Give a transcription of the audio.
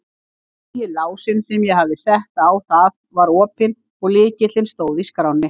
Nýi lásinn sem ég hafði sett á það var opinn og lykillinn stóð í skránni.